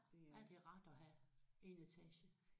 Ja det er rart at have 1 etage